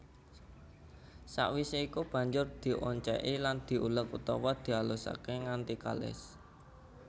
Sawisé iku banjur diocéki lan diuleg utawa dialusaké nganti kalis